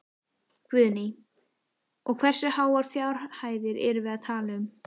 Guðný: Og hversu háar fjárhæðir erum við að tala um?